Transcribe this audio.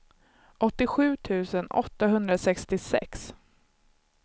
åttiosju tusen åttahundrasextiosex